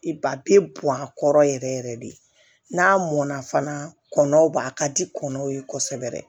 I ba a bɛ bɔn a kɔrɔ yɛrɛ yɛrɛ de n'a mɔnna fana kɔnɔn a ka di kɔnɔnw ye kosɛbɛ